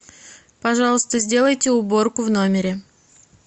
пожалуйста сделайте уборку в номере